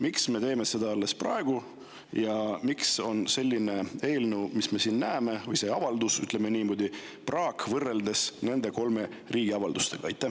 Miks me teeme seda alles praegu ja miks on meil selline avalduse eelnõu, mis on, nagu me siin näeme, praak võrreldes nende kolme riigi avaldustega?